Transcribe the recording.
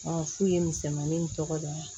fu ye misɛnmanin tɔgɔ da ye